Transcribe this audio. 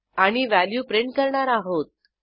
आणि value print करणार आहोत